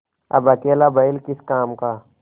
अब अकेला बैल किस काम का